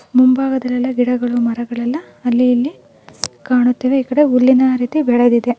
ಮುಂಭಾಗದಲ್ಲೆಲ್ಲಾ ಗಿಡಗಳು ಮರಗಳು ಎಲ್ಲಾ ಅಲ್ಲೀ ಇಲ್ಲಿ ಕಾಣುತ್ತಿವೆ ಈ ಕಡೆ ಹುಲ್ಲಿನ ರೀತಿ ಬೆಳೆದಿದೆ.